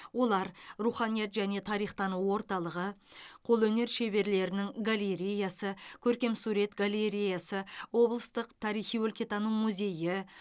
олар руханият және тарихтану орталығы қолөнер шеберлерінің галереясы көркемсурет галереясы облыстық тарихи өлкетану музейі